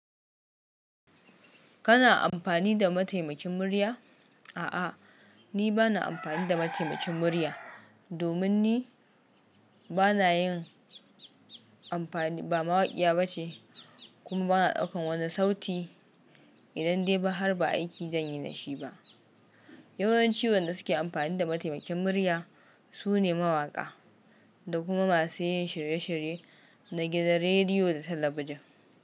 Kana amfani da mataimakin murya? A'a, ni ba na amfani da mataimakin murya domin ni ba na yin amfani, ba mawaƙiya bace kuma ba na ɗaukan wani sauti idan dai ba har ba aiki zan yi da shi ba. Yawan ci wanda suke amfani da mataimakin murya su ne mawaƙa da kuma masu yin shirye-shirye na gidan rediyo da talabijin.